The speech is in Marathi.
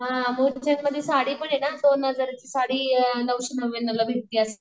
मुलचंदमधी साडीपणे ना दोन हजाराची साडी नऊशे नव्यानोला भेटती असं